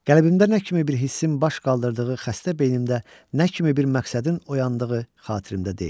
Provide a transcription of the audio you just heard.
Qəlbimdə nə kimi bir hissin baş qaldırdığı, xəstə beynimdə nə kimi bir məqsədin oyandığı xatirimdə deyil.